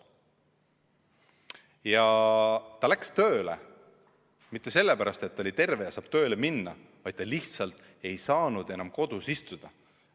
Ja ta läks tööle mitte sellepärast, et ta oli terve ja sai tööle minna, vaid ta lihtsalt ei saanud enam kodus istuda.